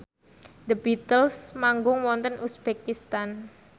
The Beatles manggung wonten uzbekistan